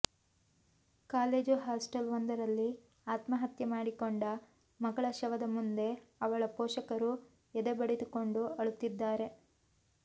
college hostel ಒಂದರಲ್ಲಿ ಆತ್ಮಹತ್ಯೆ ಮಾಡಿಕೊಂಡ ಮಗಳ ಶವದ ಮುಂದೆ ಅವಳ ಪೋಷಕರು ಎದೆ ಬಡಿದುಕೊಂಡು ಅಳುತ್ತಿದ್ದಾರೆ